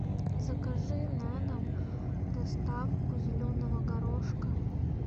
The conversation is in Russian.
закажи на дом доставку зеленого горошка